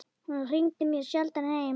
Hún hringdi mjög sjaldan heim.